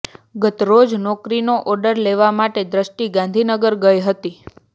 ગતરોજ નોકરીનો ઓર્ડર લેવા માટે દ્રષ્ટિ ગાંધીનગર ગઇ હતી